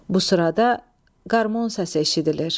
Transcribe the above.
Bu sırada qarmon səsi eşidilir.